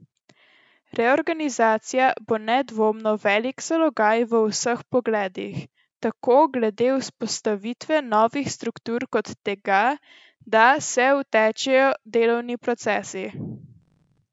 Reorganizacija bo nedvomno velik zalogaj v vseh pogledih, tako glede vzpostavitve novih struktur kot tega, da se utečejo delovni procesi.